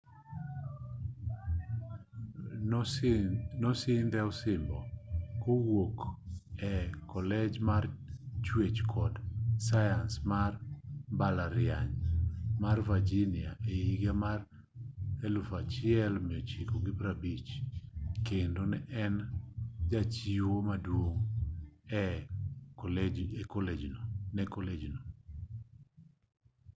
nosidhne osimbo kowuok e kolej mar chuech kod sayans mar mbalariany mar virginia e higa mar 1950 kendo ne en jachiwo maduong ne kolej no